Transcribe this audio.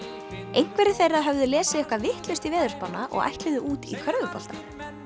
einhverjir þeirra höfðu lesið eitthvað vitlaust í veðurspána og ætluðu út í körfubolta